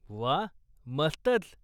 व्वा, मस्तंच.